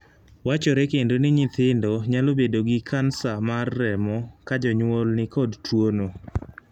Wachore kendo ni nyithindo nyalo bedo gi kansa mar remo ka jonyuol ni kod tuono.